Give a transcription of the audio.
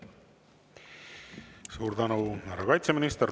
Suur tänu, härra kaitseminister!